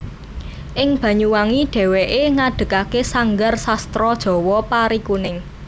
Ing Banyuwangi dhèwèké ngedegake sanggar sastra Jawa Parikuning